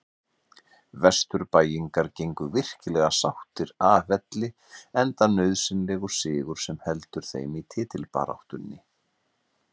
Vesturbæingar gengu virkilega sáttir af velli enda nauðsynlegur sigur sem heldur þeim í titilbaráttunni.